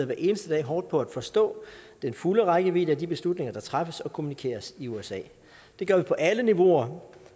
hver eneste dag hårdt på at forstå den fulde rækkevidde af de beslutninger der træffes og kommunikeres i usa det gør vi på alle niveauer